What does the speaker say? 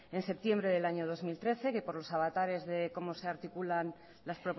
en septiembre del año dos mil trece que por los avatares de cómo se articulan las